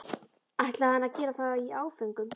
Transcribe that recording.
ætlaði hann að gera það í áföngum?